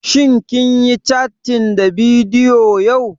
Shin kun yi cattin ta bidiyo yau?